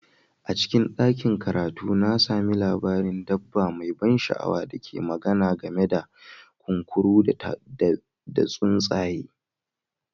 A cikin ɗakin karatu, na sami labarin dabba mai ban sha'awa da ke magana game da kunkuru da tsuntsaye